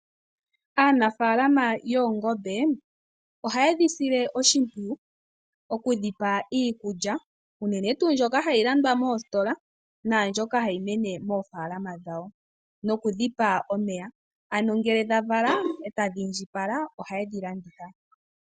Aanafaalama yoongombe ohaye dhi sile oshimpwiyu okudhi pa iikulya unene tuu mbyoka hayi landwa moositola naambyoka hayi mene moofaalama dhawo noku dhi pa omeya, ano ngele dha vala e tadhi indjipala ohaye dhi landitha po.